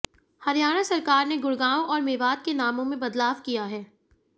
हरियाणा सरकार ने गुड़गांव और मेवात के नामों में बदलाव किया है